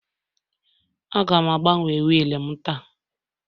Aga m agbanwe wiil m taa